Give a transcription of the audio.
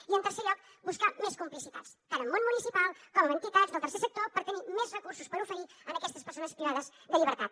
i en tercer lloc buscant més complicitats tant en el món municipal com en entitats del tercer sector per tenir més recursos per oferir a aquestes persones privades de llibertat